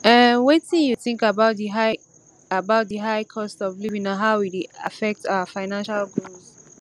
um wetin you think about di high about di high cost of living and how e dey affect our financial goals